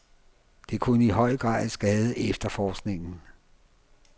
Det kunne i høj grad skade efterforskningen.